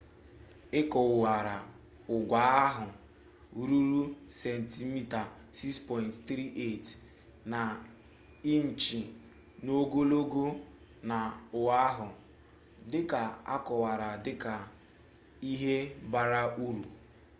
ekowara ugwu ahụ ruru sentimita 6.34 na inchi n'ogologo na oahu dịka akọwara dịka 'ihe bara uru'